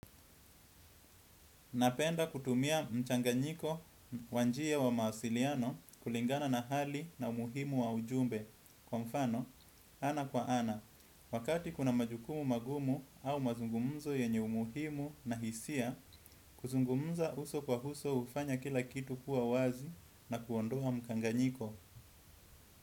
Napenda kutumia mchanganyiko wa njia wa mawasiliano kulingana na hali na umuhimu wa ujumbe. Kwa mfano, ana kwa ana, wakati kuna majukumu magumu au mazungumzo yenye umuhimu na hisia, kuzungumza uso kwa uso hufanya kila kitu kuwa wazi na kuondoa mchanganyiko.